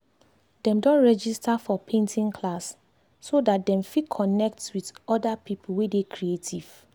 dem don register for painting class so dat dem fit connect with other people wey dey creative